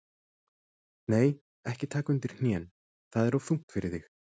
Nei, ekki taka undir hnén, það er of þungt fyrir þig.